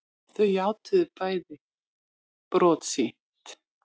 Þau játuðu bæði brot sitt